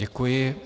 Děkuji.